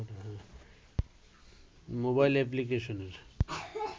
mobile অ্যাপ্লিকেশনের